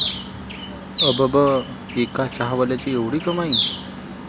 अबब, एका चहावाल्याची 'एवढी' कमाई?